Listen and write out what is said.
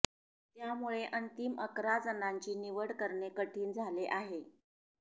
त्यामुळे अंतिम अकरा जणांची निवड करणे कठीण झाले आहे